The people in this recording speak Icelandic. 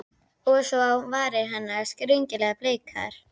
Og svo á varir hennar, skringilega bleikar.